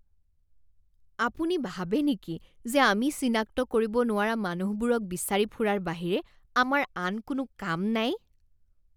আপুনি ভাবে নেকি যে আমি চিনাক্ত কৰিব নোৱাৰা মানুহবোৰক বিচাৰি ফুৰাৰ বাহিৰে আমাৰ আন কোনো কাম নাই?